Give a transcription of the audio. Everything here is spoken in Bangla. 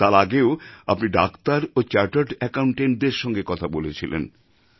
তার আগেও আপনি ডাক্তার ও চার্টার্ড অ্যাকাউন্ট্যাণ্টদের সঙ্গে কথা বলেছিলেন